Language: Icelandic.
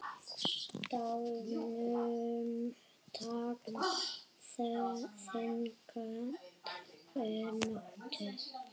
Staðnum tákn þyngd er notuð.